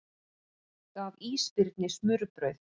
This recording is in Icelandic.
Gaf ísbirni smurbrauð